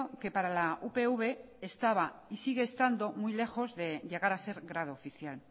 que para la upv estaba y sigue estando muy lejos de llegar a ser grado oficial